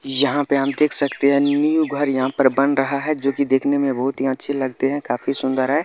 यहाँ पर हम देख सकते हैं न्यू घर यहाँ पर बन रहा हैं जोकि देखने में बोहोत ही अच्छे लगते हैं काफी सुन्दर हैं।